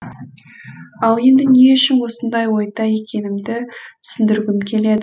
ал енді не үшін осындай ойда екенімді түсіндіргім келеді